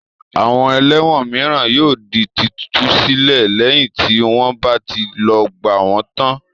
Àwọn ẹlẹ́wọ̀n mìíràn yóò di títú sílẹ̀ lẹ́yìn tí wọ́n bá ti lògbà wọn tán.